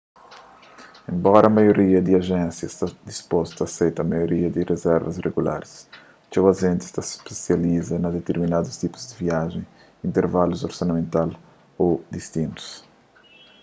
enbora maioria di ajénsia sta dispostu a aseita maioria di rizervas regularis txeu ajentis ta spesializa na diterminadus tipu di viajens intervalus orsamental ô distinus